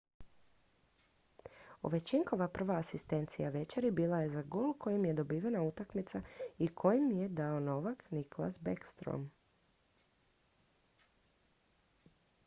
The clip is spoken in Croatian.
ovechkinova prva asistencija večeri bila je za gol kojim je dobivena utakmica i koji je dao novak nicklas backstrom